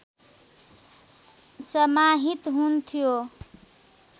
समाहित हुन्थ्यो